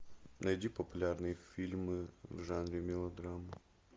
найди популярные фильмы в жанре мелодрама